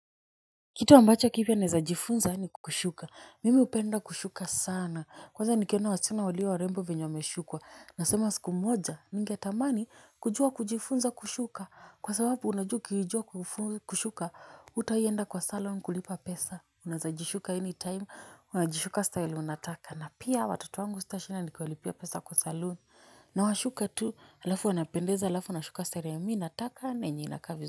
Kitu ambacho kipya naeza jifunza ni kushuka mimi hupenda kushuka sana kwanza nikiona wasichana walio warembo vyenye wameshukwa nasema siku moja ningetamani kujua kujifunza kushuka kwa sababu unajua ukijua kushuka hutawaienda kwa salon kulipa pesa unaezajishuka any time unajishuka style unataka na pia watoto wangu sitashinda nikiwalipia pesa kwa salon nawashuka tu alafu wanapendeza alafu nashuka style ya mi nataka na yenye inakaa vizuri.